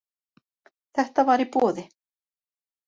Þetta var í boði.